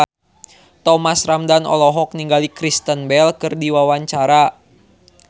Thomas Ramdhan olohok ningali Kristen Bell keur diwawancara